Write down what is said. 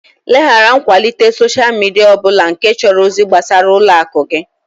Leghara nkwalite soshal midia ọ bụla nke chọrọ ozi gbasara ụlọ akụ gị!